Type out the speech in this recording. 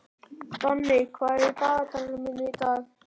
Danni, hvað er á dagatalinu mínu í dag?